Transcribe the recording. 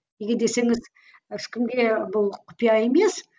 неге десеңіз ешкімге бұл құпия емес